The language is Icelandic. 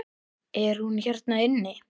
Er hún hérna inni?